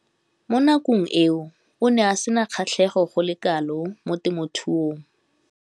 Mo nakong eo o ne a sena kgatlhego go le kalo mo temothuong.